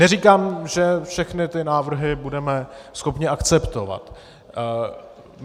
Neříkám, že všechny ty návrhy budeme schopni akceptovat.